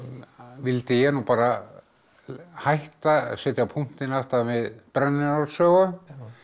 vildi ég nú bara hætta setja punktinn aftan við brennu Njáls sögu